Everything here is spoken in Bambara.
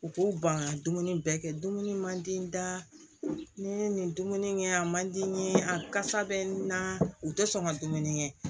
U k'u ban ka dumuni bɛɛ kɛ dumuni man di n da n'i ye nin dumuni kɛ yan a man di n ye a kasa bɛ n na u tɛ sɔn ka dumuni kɛ